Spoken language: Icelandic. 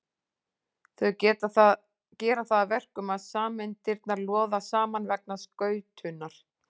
Þau gera það að verkum að sameindirnar loða saman vegna skautunar.